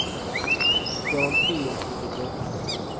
garantiinstituttet